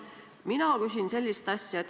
Mina küsin sellist asja.